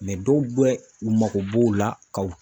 dɔw bɛ u mako b'o la ka o